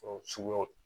suguyaw